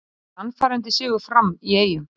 Sannfærandi sigur Fram í Eyjum